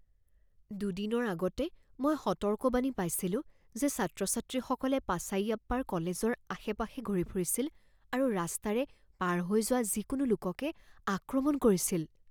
দুদিনৰ আগতে মই সতৰ্কবাণী পাইছিলোঁ যে ছাত্ৰ ছাত্ৰীসকলে পাচাইয়াপ্পাৰ কলেজৰ আশে পাশে ঘূৰি ফুৰিছিল আৰু ৰাস্তাৰে পাৰ হৈ যোৱা যিকোনো লোককে আক্ৰমণ কৰিছিল।